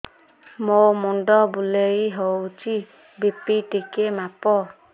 ମୋ ମୁଣ୍ଡ ବୁଲେଇ ହଉଚି ବି.ପି ଟିକେ ମାପ